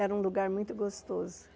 Era um lugar muito gostoso.